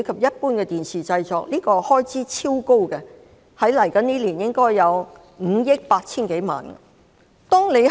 這部分的開支超高，未來1年的開支達5億 8,000 多萬元。